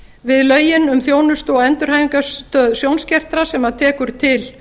við lögin um þjónustu og endurhæfingarstöð sjónskertra sem tekur til